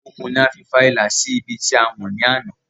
Okùn ni a fi fa ìlà sí ibi tí a wọ̀n ní àná